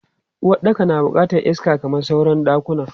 Uwaɗɗaka na bukatan iska kamar sauran ɗakuna.